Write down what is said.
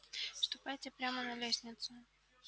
ступайте прямо на лестницу